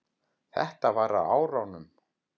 Þetta var á árunum